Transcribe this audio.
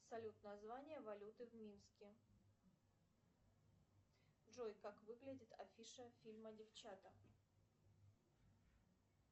салют название валюты в минске джой как выглядит афиша фильма девчата